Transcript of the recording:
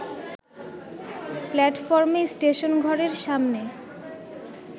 প্ল্যাটফর্মে স্টেশনঘরের সামনে